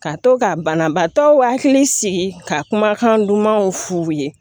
Ka to ka banabaatɔ hakili sigi ka kumakan dumanw f'u ye